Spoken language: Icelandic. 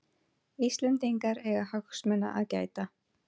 Íslendingar eiga hagsmuna að gæta